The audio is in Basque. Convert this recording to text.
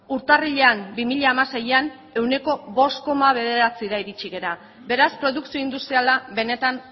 urtarrilean bi mila hamaseian ehuneko bost koma bederatzira iritsi gara beraz produkzio industriala benetan